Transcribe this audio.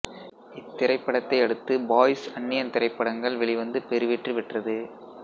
இத்திரைபடத்தை அடுத்து பாய்ஸ் அந்நியன் திரைப்படங்கள் வெளிவந்து பெருவெற்றி பெற்றது